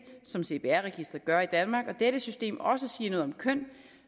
som cpr registeret gør i danmark og dette system også siger noget om køn